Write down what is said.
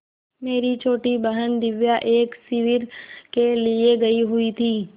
मेरी छोटी बहन दिव्या एक शिविर के लिए गयी हुई थी